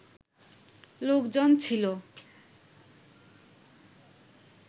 লোকজন ছিল